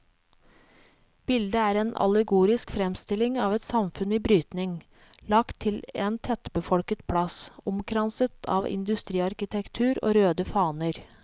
Bildet er en allegorisk fremstilling av et samfunn i brytning, lagt til en tettbefolket plass, omkranset av industriarkitektur og røde faner.